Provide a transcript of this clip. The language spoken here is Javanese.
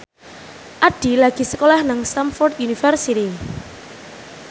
Addie lagi sekolah nang Stamford University